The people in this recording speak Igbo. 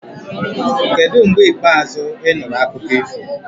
Kedu mgbe ikpeazụ ị nụrụ akụkọ ifo?